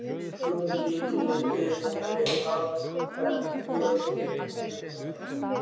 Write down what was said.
Guðmundur lítið við vinnu hafður en Björn miklu meira.